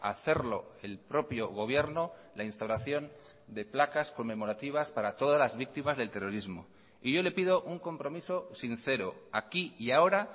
hacerlo el propio gobierno la instauración de placas conmemorativas para todas las víctimas del terrorismo y yo le pido un compromiso sincero aquí y ahora